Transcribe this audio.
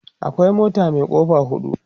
akwai mota Mai kofa hudu